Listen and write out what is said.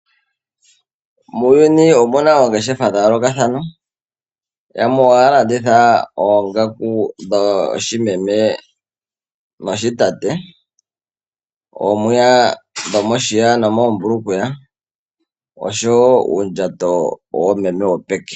Muuyuni omuna oongeshefa dhayoolokathana, yamwe ohaya landitha oongaku dhoshimeme, noshitate, oomwiya dhomoshiya nomoombukweya, noshowo uundjato wopeke.